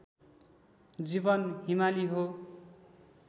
जीवन हिमाली हो